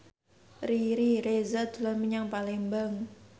Riri Reza dolan menyang Palembang